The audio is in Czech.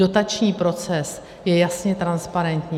Dotační proces je jasně transparentní.